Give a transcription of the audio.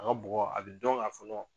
A ka bugɔ a bɛ dɔn k'a fɔ